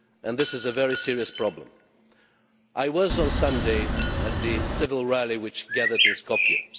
This is a very serious problem. I was there on Sunday at the civil rally which gathered in Skopje.